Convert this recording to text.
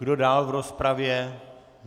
Kdo dál v rozpravě?